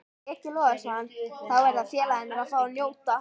Breki Logason: Þá verða félagarnir að fá að njóta?